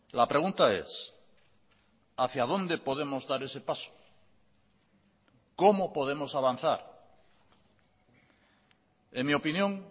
la pregunta es hacia dónde podemos dar ese paso cómo podemos avanzar en mi opinión